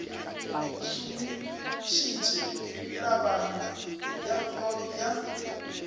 šomišitše tebanyo ya freud ya